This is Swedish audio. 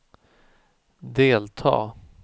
delta